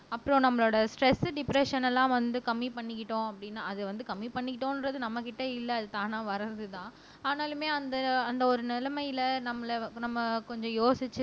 அப்புறம் நம்மளோட stress depression எல்லாம் வந்து கம்மி பண்ணிக்கிட்டோம் அப்படின்னா அது வந்து கம்மி பண்ணிக்கிட்டோம்ன்றது நம்மகிட்ட இல்லை அது தானா வர்றதுதான் ஆனாலுமே அந்த அந்த ஒரு நிலைமயில நம்மளை நம்ம கொஞ்சம் யோசிச்சு